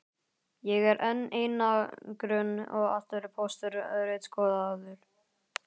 Ég er enn í einangrun og allur póstur ritskoðaður.